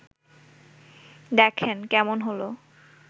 দেখেন, কেমন হলো